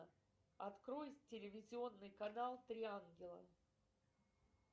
открой телевизионный канал три ангела